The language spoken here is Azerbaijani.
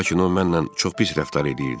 Lakin o mənlə çox pis rəftar eləyirdi.